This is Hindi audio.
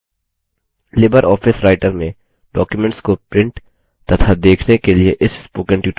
लिबर ऑफिस writer में documents को प्रिंट तथा देखने के इस spoken tutorial में आपका स्वागत है